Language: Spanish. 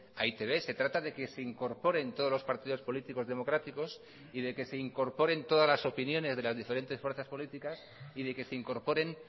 a e i te be se trata de que se incorporen todos los partidos políticos democráticos y de que se incorporen todas las opiniones de las diferentes fuerzas políticas y de que se incorporen